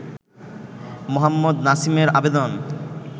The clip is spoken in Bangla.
মোহাম্মদ নাসিমের আবেদন